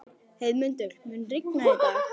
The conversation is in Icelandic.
Heiðmundur, mun rigna í dag?